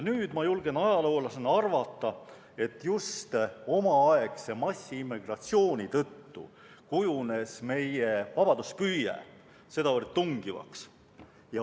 Nüüd ma julgen ajaloolasena arvata, et just omaaegse massiimmigratsiooni tõttu kujunes meie vabaduspüüe sedavõrd tungivaks.